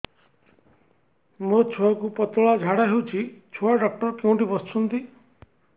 ମୋ ଛୁଆକୁ ପତଳା ଝାଡ଼ା ହେଉଛି ଛୁଆ ଡକ୍ଟର କେଉଁଠି ବସୁଛନ୍ତି